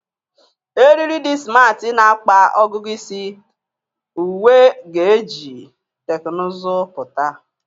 Eriri di simarti na-akpa ọgụgụ isi, uwe ga-eji teknụzụ pụta.